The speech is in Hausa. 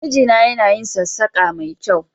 Mijina yana yin sassaƙa ma kyau